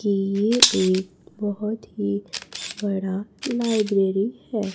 कि ये एक बहोत ही बड़ा लाइब्रेरी है।